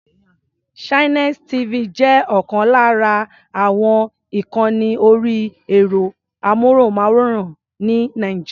Channels TV jẹ́ ọ̀kan lára àwọn ìkànni orí ẹ̀rọ-amóhùnmáwòrán ní Nàìjíríà.